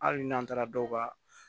Hali n'an taara dɔw ka